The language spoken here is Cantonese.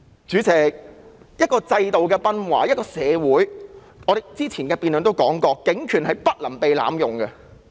主席，一個制度的崩壞，一個社會......我們之前的辯論也提過，警權是不能被濫用的。